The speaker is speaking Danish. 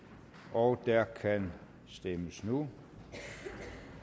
og der kan stemmes nu jeg